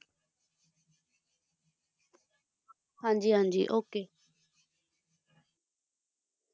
ਹਾਂਜੀ ਹਾਂਜੀ okay